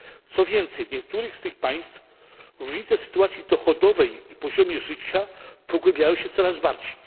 Co więcej, w niektórych z tych państw różnice w sytuacji dochodowej i poziomie życia pogłębiają się coraz bardziej.